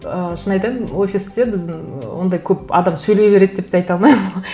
ыыы шын айтайын офисте біздің ондай көп адам сөйлей береді деп те айта алмаймын